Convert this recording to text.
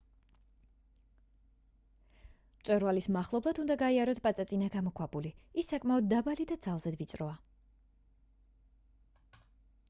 მწვერვალის მახლობლად უნდა გაიაროთ პაწაწინა გამოქვაბული ის საკმაოდ დაბალი და ძალზედ ვიწროა